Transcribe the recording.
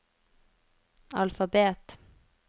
alfabet